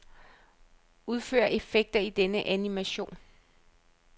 Udfør effekter i denne animation.